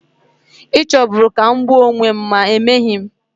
Ị chọburu ka m gbuo onwe m, ma emeghị m.